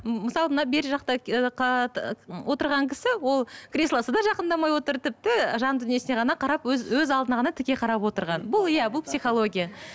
мысалы мына бері жақта отырған кісі ол креслосы да жақындамай отыр тіпті жан дүниесіне ғана қарап өз өз алдына ғана тіке қарап отырған бұл иә бұл психология